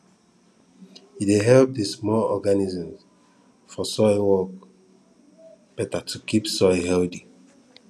e dey help di small organisms for soil work better to keep soil healthy